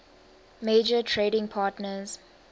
major trading partners